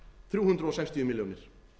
þrjú hundruð sextíu milljónir